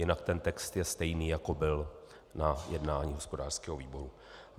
Jinak ten text je stejný, jako byl na jednání hospodářského výboru.